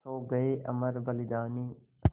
सो गये अमर बलिदानी